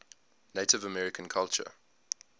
native american culture